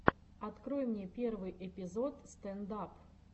открой мне первый эпизод стэнд ап